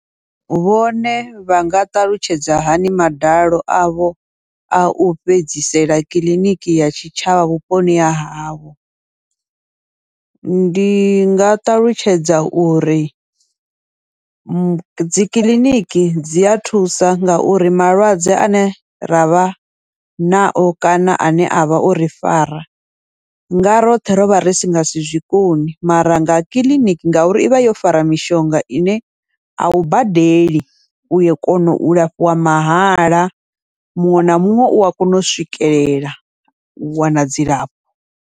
Vhone vhanga ṱalutshedza hani madalo avho au fhedzisela kiḽiniki ya tshitshavha vhuponi ha havho, ndi nga ṱalutshedza uri dzikiḽiniki dzi a thusa ngauri malwadze ane ravha nao kana ane avha ori fara, nga roṱhe rovha risi ngasi zwikoni mara nga kiḽiniki ngauri ivha yo fara mishonga ine au badeli uya kona u lafhiwa mahala, muṅwe na muṅwe ua kona u swikelela u wana dzilafho.